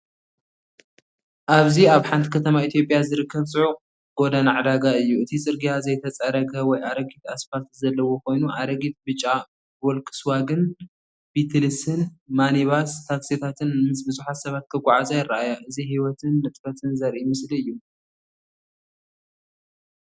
ኣብዚ ኣብ ሓንቲ ከተማ ኢትዮጵያ ዝርከብ ጽዑቕ ጎደና ዕዳጋ እዩ። እቲ ጽርግያ ዘይተጸረገ ወይ ኣረጊት ኣስፋልት ዘለዎ ኮይኑ፡ ኣረጊት ብጫ ቮልክስዋገን ቢትልስን ሚኒባስ ታክሲታትን ምስ ብዙሓት ሰባት ክጓዓዛ ይረኣያ። እዚ ህይወትን ንጥፈትን ዘርኢ ምስሊ እዩ።